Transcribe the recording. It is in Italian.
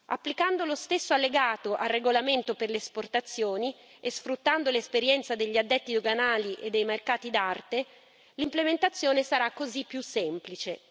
Applicando lo stesso allegato al regolamento per le esportazioni e sfruttando l'esperienza degli addetti doganali e dei mercati d'arte, l'implementazione sarà così più semplice.